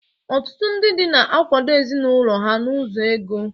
Ọtụtụ ndị di na-akwado ezinụlọ ha n'ụzọ ego.